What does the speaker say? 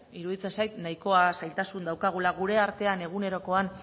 iruditzen zait nahikoa zailtasun daukagula gure artean egunerokoan